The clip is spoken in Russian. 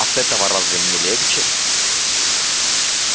от этого разве мне легче